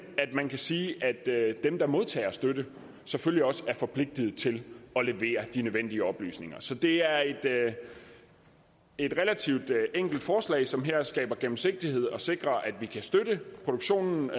at man kan sige at dem der modtager støtte selvfølgelig også er forpligtet til at levere de nødvendige oplysninger så det er et relativt enkelt forslag som her skaber gennemsigtighed og sikrer at vi kan støtte produktionen